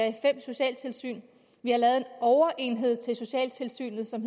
i fem socialtilsyn vi har lavet en overenhed til socialtilsynet som